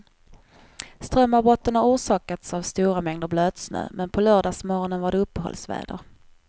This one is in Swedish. Strömavbrotten har orsakats av stora mängder blötsnö, men på lördagsmorgonen var det uppehållsväder.